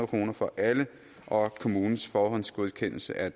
kroner for alle og kommunens forhåndsgodkendelse af